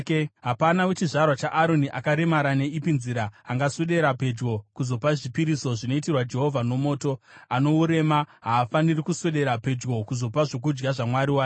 Hapana wechizvarwa chaAroni akaremara neipi nzira angaswedera pedyo kuzopa zvipiriso zvinoitirwa Jehovha nomoto. Ano urema; haafaniri kuswedera pedyo kuzopa zvokudya zvaMwari wake.